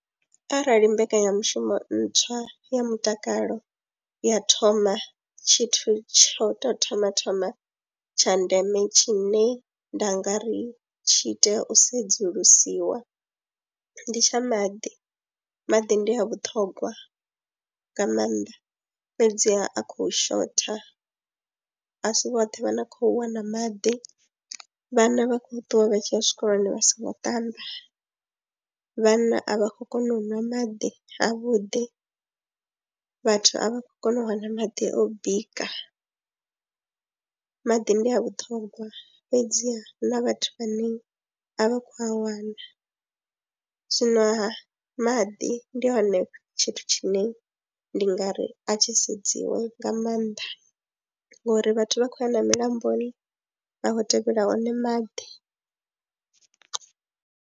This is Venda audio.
Arali mbekanyamushumo ntswa ya mutakalo ya thoma tshithu tsha u tou thoma thoma tsha ndeme tshine nda nga ri tshi tea u sedzulusiwa, ndi tsha maḓi, maḓi ndi a vhuṱhongwa nga mannḓa fhedziha a khou shotha, a si vhoṱhe vha na khou wana maḓi. Vhana vha khou ṱuwa vha tshi ya zwikoloni vha songo ṱamba, vhana a vha khou kona u nwa maḓi avhuḓi, vhathu a vha khou kona u wana maḓi o bika, maḓi ndi a vhuṱhongwa fhedziha hu na vhathu vhane a vha khou a wana. Zwinoha maḓi ndi hone tshithu tshine ndi nga ri a tshi sedziwe nga maanḓa ngori vhathu vha khou ya na milamboni vha khou tevhela one maḓi.